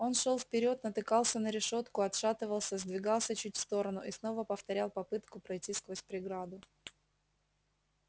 он шёл вперёд натыкался на решётку отшатывался сдвигался чуть в сторону и снова повторял попытку пройти сквозь преграду